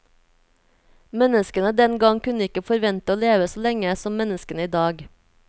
Menneskene den gang kunne ikke forvente å leve så lenge som menneskene i dag.